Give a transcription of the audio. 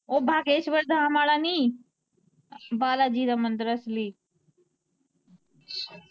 ਓਹ ਬਾਗੇਸ਼ਵਰ ਧਾਮ ਆਲਾ ਨੀ, ਬਾਲਾ ਜੀ ਦਾ ਮੰਦਿਰ ਅਸਲੀ।